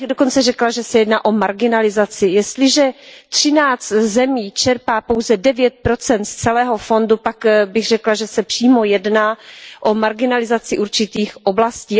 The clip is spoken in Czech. Já bych dokonce řekla, že se jedná o marginalizaci, jestliže 13 zemí čerpá pouze 9 z celého fondu, pak bych řekla, že se přímo jedná o marginalizaci určitých oblastí.